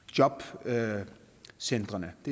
så er det